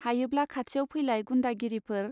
हायोब्ला खाथियाव फैलाय गुन्दागिरिफोर.